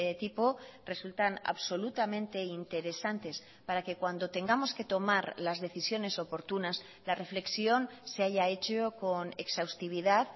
tipo resultan absolutamente interesantes para que cuando tengamos que tomar las decisiones oportunas la reflexión se haya hecho con exhaustividad